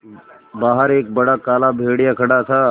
बाहर एक बड़ा काला भेड़िया खड़ा था